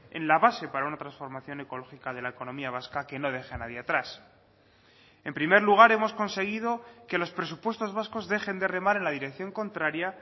en la base para una transformación ecológica de la economía vasca que no deja a nadie atrás en primer lugar hemos conseguido que los presupuestos vascos dejen de remar en la dirección contraria